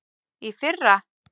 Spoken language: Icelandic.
Í fyrra.